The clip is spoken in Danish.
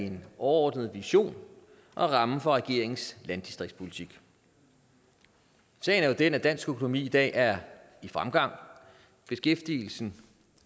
en overordnet vision og rammen for regeringens landdistriktspolitik sagen er jo den at dansk økonomi i dag er i fremgang beskæftigelsen